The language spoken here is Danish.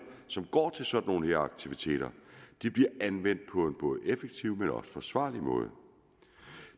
som går til sådan nogle aktiviteter bliver anvendt på en både effektiv og forsvarlig måde